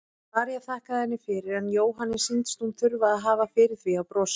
María þakkaði henni fyrir en Jóhanni sýndist hún þurfa að hafa fyrir því að brosa.